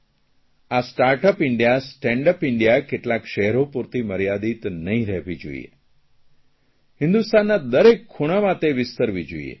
આ startup India stand up India કેટલાંક શહેરો પૂરતી મર્યાદિત નહીં રહેવી જોઇએ